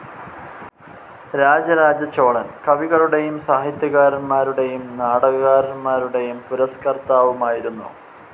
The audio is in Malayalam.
രാജരാജചോളൻ കവികളുടെയും സാഹിത്യകാരന്മാരുടെയും നാടകകാരന്മാരുടെയും പുരസ്‌കർത്താവുമായിരുന്നു.